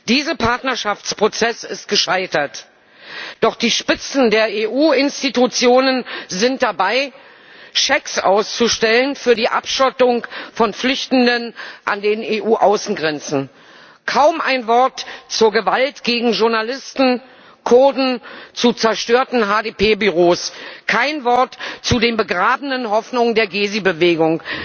Dieser Partnerschaftsprozess ist gescheitert, doch die Spitzen der EU Institutionen sind dabei, Schecks für die Abschottung von Flüchtenden an den EU Außengrenzen auszustellen. Kaum ein Wort zur Gewalt gegen Journalisten, Kurden, zu zerstörten HDP Büros, kein Wort zu den begrabenen Hoffnungen der Gezi Bewegung.